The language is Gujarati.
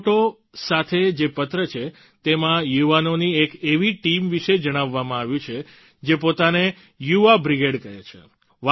આ ફોટો સાથે જે પત્ર છે તેમાં યુવાનોની એક એવી ટીમ વિશે જણાવવામાં આવ્યું છે જે પોતાને યુવા બ્રિગેડ કહે છે